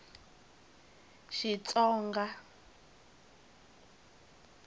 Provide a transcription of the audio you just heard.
xitsonga